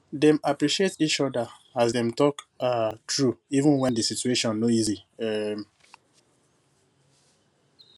dem appreciate each other as dem talk um true even when the situation no easy um